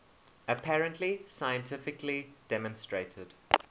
apparently scientifically demonstrated